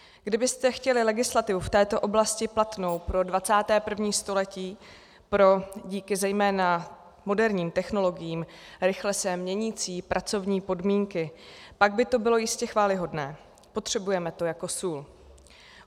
Kdybyste chtěli legislativu v této oblasti platnou pro 21. století, pro díky zejména moderním technologiím rychle se měnící pracovní podmínky, pak by to bylo jistě chvályhodné, potřebujeme to jako sůl.